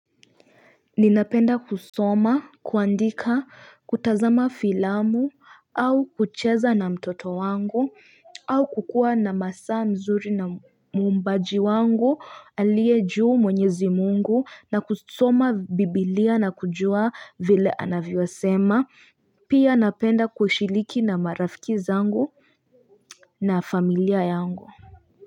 Ninapenda kusoma, kuandika, kutazama filamu, au kucheza na mtoto wangu, au kukua na masaa mzuri na mumbaji wangu, aliye juu mwenyezi mungu, na kusoma biblia na kujua vile anavyosema, pia napenda kushiriki na marafiki zangu na familia yangu.